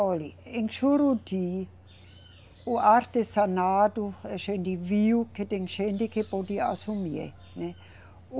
Olhe, em Juruti o artesanato a gente viu que tem gente que podia assumir, né?